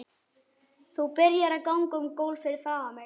Þú byrjar að ganga um gólf fyrir framan mig.